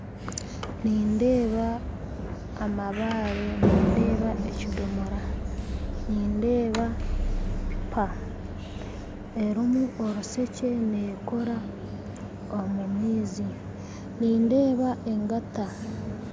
Nindeeba amabaare nindeeba ekidoomora nindeeba tipa erimu orushekye neekoora omu maizi nindeeba engata